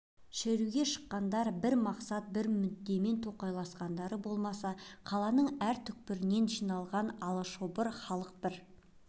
шеруге шыққандар бір мақсат бір мүддемен тоқайласқандары болмаса қаланың әр тарапынан жиналған алашобыр халық бір